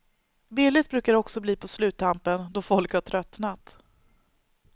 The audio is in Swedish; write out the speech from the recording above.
Billigt brukar det också bli på sluttampen, då folk har tröttnat.